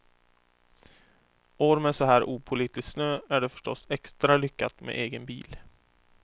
År med så här opålitlig snö är det förstås extra lyckat med egen bil.